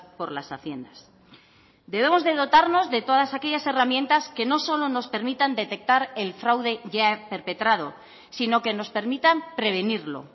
por las haciendas debemos de dotarnos de todas aquellas herramientas que no solo nos permitan detectar el fraude ya perpetrado sino que nos permitan prevenirlo